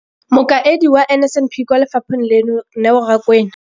Mokaedi wa NSNP kwa lefapheng leno, Neo Rakwena.